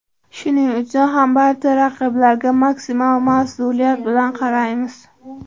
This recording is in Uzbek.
Shuning uchun ham barcha raqiblarga maksimal mas’uliyat bilan qaraymiz.